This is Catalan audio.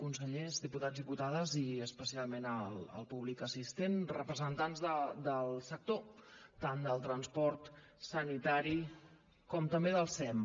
consellers diputats i diputades i especialment al públic assistent representant del sector tant del transport sanitari com també del sem